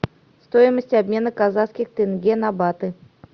стоимость обмена казахских тенге на баты